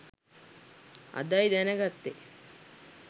අදයි දැන ගත්තෙ